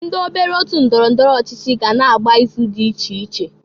Ndị obere otu ndọrọ ndọrọ ọchịchị ga na-agba ịzụ dị iche iche.